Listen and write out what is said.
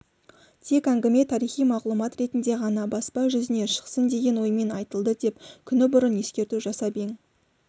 тек әңгіме тарихи мағлұмат ретінде ғана баспа жүзіне шықсын деген оймен айтылды деп күні бұрын ескерту жасап ең